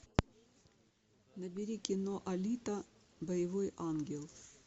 набери кино алита боевой ангел